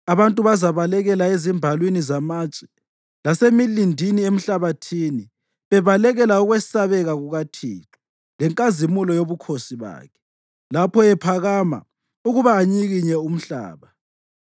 Abantu bazabalekela ezimbalwini zamatshe lasemilindini emhlabathini bebalekela ukwesabeka kukaThixo lenkazimulo yobukhosi bakhe lapho ephakama ukuba anyikinye umhlaba.